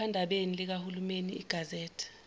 ephephandabeni likahulumeni igazette